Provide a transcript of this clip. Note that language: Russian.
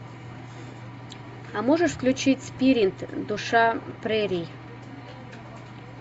а можешь включить спирит душа прерий